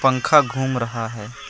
पंखा घूम रहा है ।